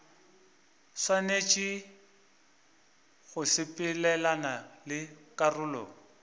swanetše go sepelelana le karolo